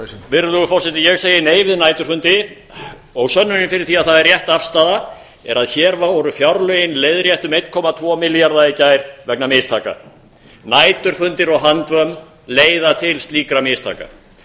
virðulegur forseti ég segi nei við næturfundi og sönnunin fyrir því að það er rétt afstaða er að hér voru fjárlögin leiðrétt um einn komma tvo milljarða í gær vegna mistaka næturfundir og handvömm leiða til slíkra mistaka